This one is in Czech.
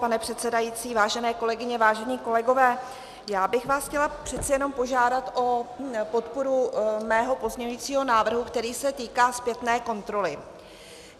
Pane předsedající, vážené kolegyně, vážení kolegové, já bych vás chtěla přece jenom požádat o podporu mého pozměňujícího návrhu, který se týká zpětné kontroly.